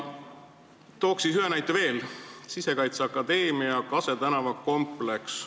Toon siis ühe näite veel: Sisekaitseakadeemia Kase tänava kompleks.